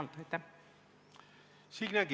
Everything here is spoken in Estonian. Signe Kivi, palun!